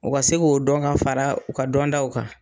U ka se k'o dɔn ka fara u ka dɔn taw kan.